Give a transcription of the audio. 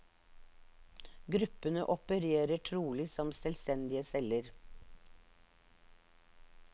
Gruppene opererer trolig som selvstendige celler.